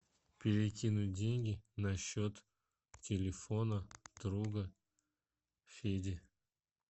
перекинуть деньги на счет телефона друга феди